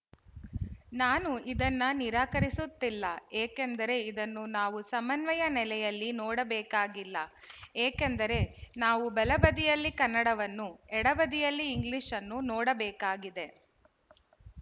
ನಾನು ಇದನ್ನ ನಿರಾಕರಿಸುತ್ತಿಲ್ಲ ಏಕೆಂದರೆ ಇದನ್ನು ನಾವು ಸಮನ್ವಯ ನೆಲೆಯಲ್ಲಿ ನೋಡಬೇಕಾಗಿಲ್ಲ ಏಕೆಂದರೆ ನಾವು ಬಲಬದಿಯಲ್ಲಿ ಕನ್ನಡವನ್ನು ಎಡ ಬದಿಯಲ್ಲಿ ಇಂಗ್ಲಿಶ್‌ನ್ನು ನೋಡ ಬೇಕಾಗಿದೆ